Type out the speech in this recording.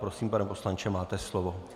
Prosím, pane poslanče, máte slovo.